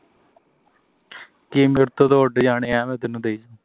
ਕੀ ਮੇਰੇ ਤੋ ਤਾਂ ਉੱਡ ਜਾਣੇ ਮੈਂ ਤੈਨੂੰ ਦਈ ਜਾਉ